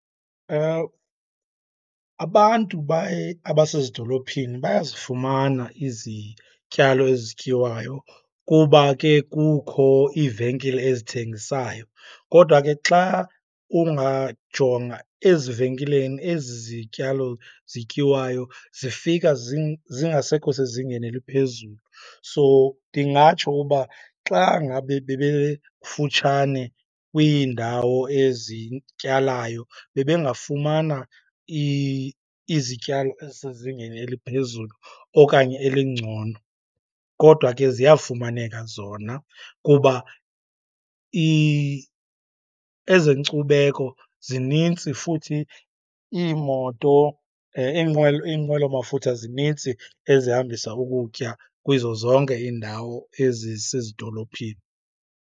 Abantu abasezidolophini bayazifumana izityalo ezityiwayo kuba ke kukho iivenkile ezithengisayo. Kodwa ke xa ungajonga ezivenkileni, ezi zityalo zityiwayo zifika zingasekho sezingeni eliphezulu. So, ndingatsho uba xa ngabe bebe kufutshane kwiindawo ezityalayo, bebengafumana izityalo ezisezingeni eliphezulu okanye elingcono. Kodwa ke ziyafumaneka zona kuba ezenkcubeko zinintsi futhi iimoto, iinqwelo iinqwelomafutha zinintsi ezihambisa ukutya kuzo zonke iindawo ezisezidolophini.